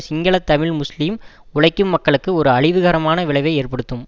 Sinhala Tamil Muslim உழைக்கும் மக்களுக்கு ஒரு அழிவுகரமான விளைவை ஏற்படுத்தும்